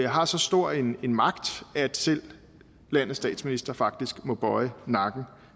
har så stor en en magt at selv landes statsminister faktisk må bøje nakken